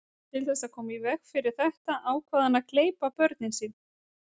Til þess að koma í veg fyrir þetta ákvað hann að gleypa börnin sín.